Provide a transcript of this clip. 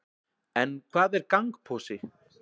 en hvað er gangposi